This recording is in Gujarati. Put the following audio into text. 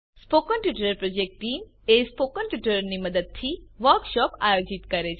spoken tutorial project team spoken ટ્યુટોરીયલોની મદદથી વર્કશોપ આયોજિત કરે છે